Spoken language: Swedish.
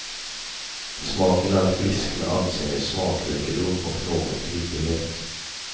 Smaken är frisk med ansenlig smakrikedom och någon kryddighet.